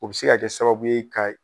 O bi se ka kɛ sababu ye ka